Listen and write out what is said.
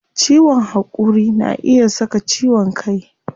Ciwon hakuri na iya saka ciwon kai